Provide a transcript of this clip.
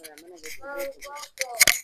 Ayiwa a ma na kɛ cogo wo cogo